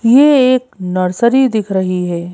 ये एक नर्सरी दिख रही है।